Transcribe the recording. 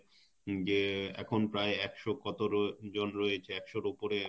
যে এখন প্রায় একশ কত জন রয়েছে একশ এর উপরে